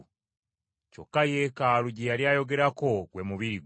Kyokka Yeekaalu gye yali ayogerako gwe mubiri gwe.